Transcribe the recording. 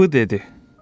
Bu dedi: